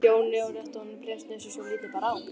Jóni og rétti honum bréfsnifsi svo lítið bar á.